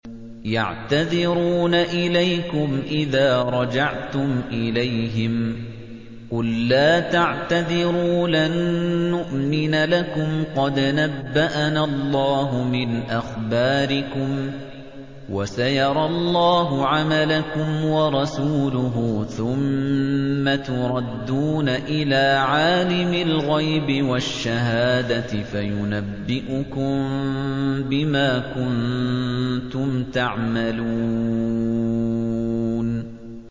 يَعْتَذِرُونَ إِلَيْكُمْ إِذَا رَجَعْتُمْ إِلَيْهِمْ ۚ قُل لَّا تَعْتَذِرُوا لَن نُّؤْمِنَ لَكُمْ قَدْ نَبَّأَنَا اللَّهُ مِنْ أَخْبَارِكُمْ ۚ وَسَيَرَى اللَّهُ عَمَلَكُمْ وَرَسُولُهُ ثُمَّ تُرَدُّونَ إِلَىٰ عَالِمِ الْغَيْبِ وَالشَّهَادَةِ فَيُنَبِّئُكُم بِمَا كُنتُمْ تَعْمَلُونَ